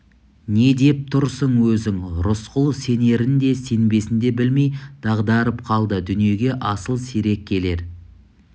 не деп тұрсын өзің рысқұл сенерін де сенбесін де білмей дағдарып қалды дүниеге асыл сирек келер